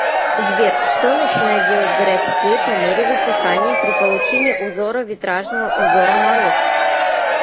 сбер что начинает делать горячий клей по мере высыхания при получении узора витражного узора мороз